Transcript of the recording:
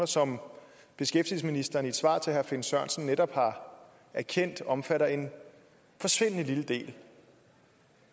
som beskæftigelsesministeren i et svar til herre finn sørensen netop har erkendt omfatter en forsvindende lille del